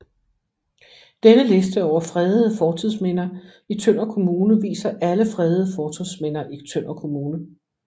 Denne liste over fredede fortidsminder i Tønder Kommune viser alle fredede fortidsminder i Tønder Kommune